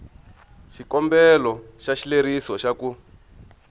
xikombelo xa xileriso xa ku